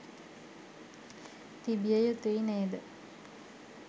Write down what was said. තිබිය යුතුයි නේද?